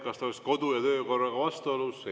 Kas see oleks kodu- ja töökorraga vastuolus?